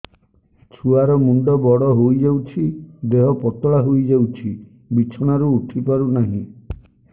ଛୁଆ ର ମୁଣ୍ଡ ବଡ ହୋଇଯାଉଛି ଦେହ ପତଳା ହୋଇଯାଉଛି ବିଛଣାରୁ ଉଠି ପାରୁନାହିଁ